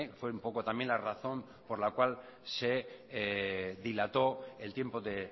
fue un poco también la razón por la cual se dilató el tiempo de